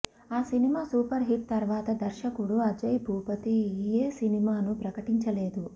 ఆ cinema super hit తర్వాత దర్శకుడు అజయ్ భూపతి ఏ సినిమాను ప్రకటించలేదు